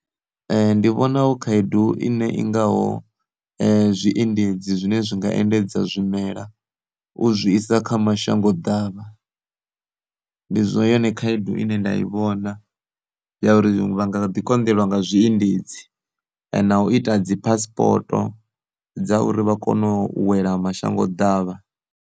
Ndi vhona hu khaedu ine i ngaho, zwiendedzi zwine zwi nga endedza zwimela u zwi isa kha mashango davha, ndi zwo yone khaedu ine nda i vhona ya uri vha nga ḓi konḓelwa nga zwiendedzi, na u ita dzi passpoto dza uri vha kone u wela mashango davha.